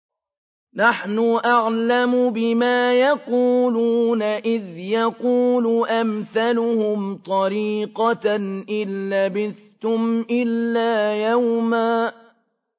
نَّحْنُ أَعْلَمُ بِمَا يَقُولُونَ إِذْ يَقُولُ أَمْثَلُهُمْ طَرِيقَةً إِن لَّبِثْتُمْ إِلَّا يَوْمًا